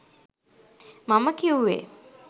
මම කිව්වේ